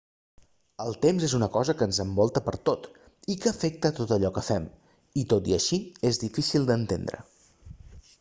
el temps és una cosa que ens envolta pertot i que afecta tot allò que fem i tot i així és dificil d'entendre